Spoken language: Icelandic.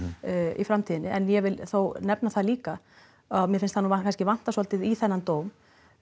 í framtíðinni en ég vill þá nefna það líka að mér finnst vanta svolítið í þennan dóm